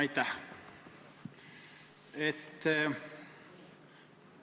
Aitäh!